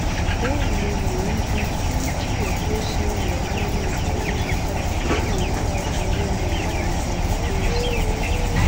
bẹẹ ni mò ń ju fídíò bó ṣe ń lọ sórí ayélujára káwọn ayé lè mọ ohun tó ń ṣẹlẹ